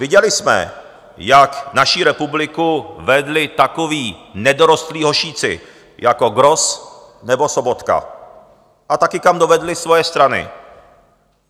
Viděli jsme, jak naši republiku vedli takoví nedorostlí hošíci jako Gross nebo Sobotka, a taky, kam dovedli svoje strany.